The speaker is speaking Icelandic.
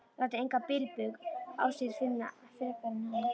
Lætur engan bilbug á sér finna frekar en hann.